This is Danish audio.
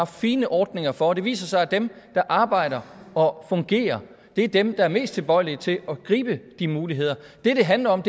fine ordninger for det viser sig at dem der arbejder og fungerer er dem der er mest tilbøjelige til at gribe de muligheder det det handler om